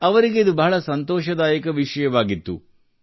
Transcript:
ಅವರಿಗೆ ಇದು ಬಹಳ ಸಂತೋಷದಾಯಕ ವಿಷಯವಾಗಿತ್ತು